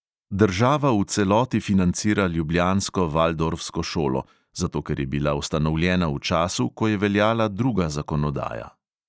Država v celoti financira ljubljansko valdorfsko šolo, zato ker je bila ustanovljena v času, ko je veljala druga zakonodaja.